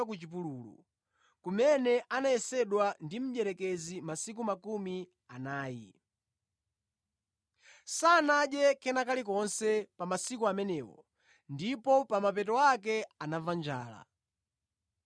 kumene anayesedwa ndi mdierekezi masiku makumi anayi. Sanadye kena kalikonse pa masiku amenewo, ndipo pa mapeto pake anamva njala.